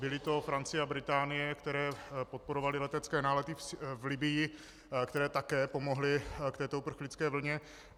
Byly to Francie a Británie, které podporovaly letecké nálety v Libyi, které také pomohly k této uprchlické vlně.